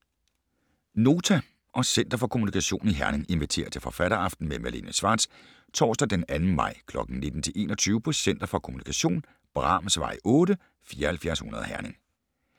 Nota og Center for Kommunikation i Herning inviterer til forfatteraften med Malene Schwartz torsdag den 2. maj kl. 19-21 på Center for Kommunikation, Brahmsvej 8, 7400 Herning.